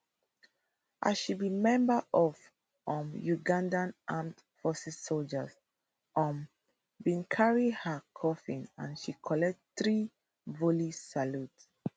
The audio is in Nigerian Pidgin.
as she be member of um uganda armed forces sojas um bin carry her coffin and she collect threevolley salute